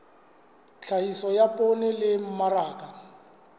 tlhahiso ya poone le mmaraka